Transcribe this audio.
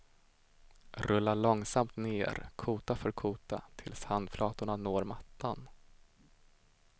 Rulla långsamt ner kota för kota tills handflatorna når mattan.